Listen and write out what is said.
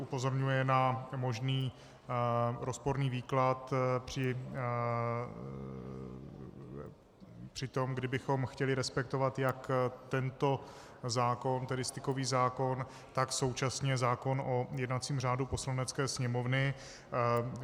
Upozorňuje na možný rozporný výklad při tom, kdybychom chtěli respektovat jak tento zákon, tedy stykový zákon, tak současně zákon o jednacím řádu Poslanecké sněmovny.